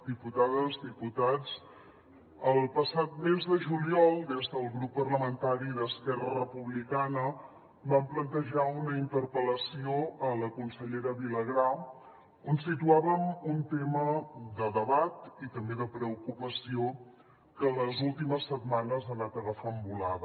diputades diputats el passat mes de juliol des del grup parlamentari d’esquerra republicana vam plantejar una interpel·lació a la consellera vilagrà on situàvem un tema de debat i també de preocupació que les últimes setmanes ha anat agafant volada